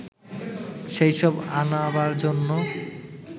সেইসব আনাবার জন্য